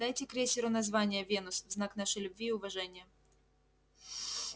дайте крейсеру название венус в знак нашей любви и уважения